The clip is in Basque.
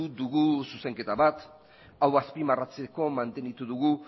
dugu zuzenketa bat hau azpimarratzeko mantendu dugu